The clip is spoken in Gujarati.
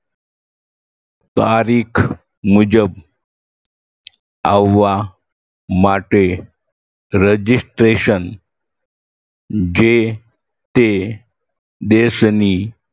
તારીખ મુજબ આવવા માટે registration જે તે દેશની